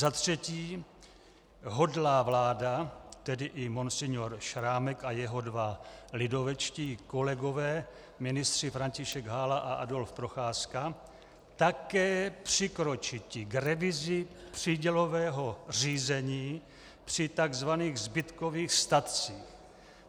Za třetí hodlá vláda," tedy i monsignore Šrámek a jeho dva lidovečtí kolegové ministři František Hála a Adolf Procházka, "také přikročiti k revizi přídělového řízení při tzv. zbytkových statcích.